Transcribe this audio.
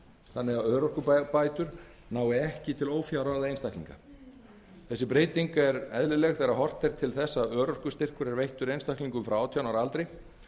þannig að örorkubætur nái ekki til ófjárráða einstaklinga þessi breyting er eðlileg þegar horft er til þess að örorkustyrkur er veittur einstaklingum frá átján ára aldri